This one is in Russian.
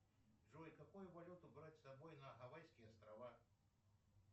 джой какую валюту брать с собой на гавайские острова